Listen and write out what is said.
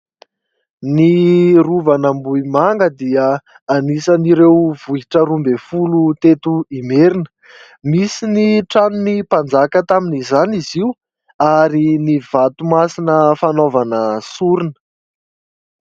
Ny rovan'Ambohimanga dia anisan''ireo vohitra roa ambin'ny folo teto Imerina. Misy ny tranon'ny mpanjaka tamin'izany izy io ary ny vato masina fanaovana sorona.